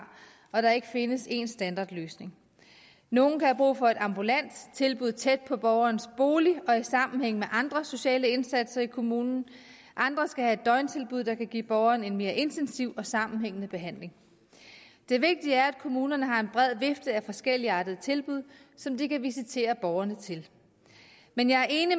og at der ikke findes en standardløsning nogle kan have brug for et ambulant tilbud tæt på borgerens bolig og i sammenhæng med andre sociale indsatser i kommunen andre skal have et døgntilbud der kan give borgeren en mere intensiv og sammenhængende behandling det vigtige er at kommunerne har en bred vifte af forskelligartede tilbud som de kan visitere borgerne til men jeg er enig